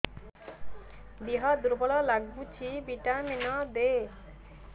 ଦିହ ଦୁର୍ବଳ ଲାଗୁଛି ଭିଟାମିନ ଦେ